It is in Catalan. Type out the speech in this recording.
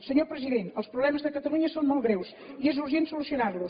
senyor president els problemes de catalunya són molt greus i és urgent solucionar los